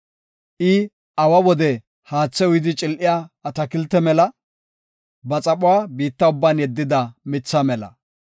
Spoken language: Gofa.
I awa wode haathe uyidi cil7iya atakilte mela; ba xaphuwa biitta ubban yeddida mitha mela.